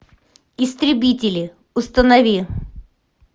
истребители установи